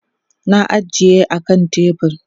na ajiye a kan tebur